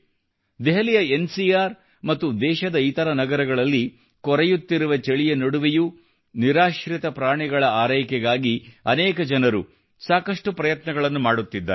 ದೆಹಲಿಯ N C R ಮತ್ತು ದೇಶದ ಇತರ ನಗರಗಳಲ್ಲಿ ಕೊರೆಯುತ್ತಿರುವ ಚಳಿಯ ನಡುವೆಯೂ ನಿರಾಶ್ರಿತ ಪ್ರಾಣಿಗಳ ಆರೈಕೆಗಾಗಿ ಅನೇಕ ಜನರು ಸಾಕಷ್ಟು ಪ್ರಯತ್ನಗಳನ್ನು ಮಾಡುತ್ತಿದ್ದಾರೆ